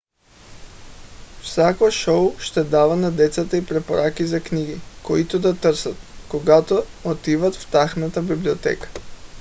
всяко шоу ще дава на децата и препоръки за книги които да търсят когато отиват в тяхната библиотеката